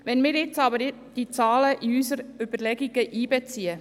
Wenn wir die Zahlen jedoch in unsere Überlegungen einbeziehen: